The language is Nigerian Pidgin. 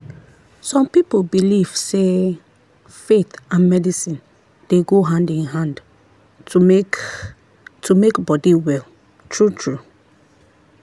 some people belief sey faith and medicine dey go hand in hand to make to make body well true-true.